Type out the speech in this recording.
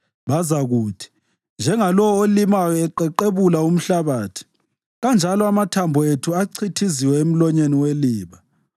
Bazakuthi, “Njengalowo olimayo eqeqebula umhlabathi, kanjalo amathambo ethu achithiziwe emlonyeni weliba.”